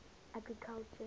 agriculture